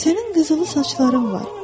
Sənin qızılı saçların var.